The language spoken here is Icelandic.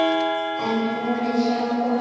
En hún er hjá honum.